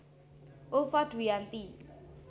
Ulfa Dwiyanti